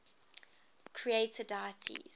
creator deities